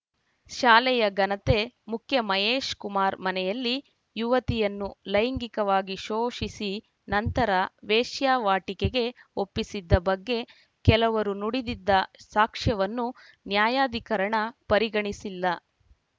ಶಾಲೆಯ ಘನತೆ ಮುಖ್ಯ ಮಹೇಶ್‌ ಕುಮಾರ್‌ ಮನೆಯಲ್ಲಿ ಯುವತಿಯನ್ನು ಲೈಂಗಿಕವಾಗಿ ಶೋಷಿಸಿ ನಂತರ ವೇಶ್ಯಾವಾಟಿಕೆಗೆ ಒಪ್ಪಿಸಿದ್ದ ಬಗ್ಗೆ ಕೆಲವರು ನುಡಿದಿದ್ದ ಸಾಕ್ಷ್ಯವನ್ನು ನಾಯಾಧಿಕರಣ ಪರಿಗಣಿಸಿಲ್ಲ